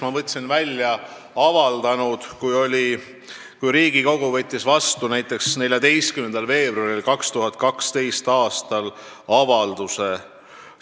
Ma võtsin välja avalduse, mille Riigikogu võttis vastu 2012. aasta 14. veebruaril.